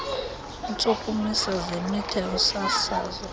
iintshukumiso zemitha yosasazo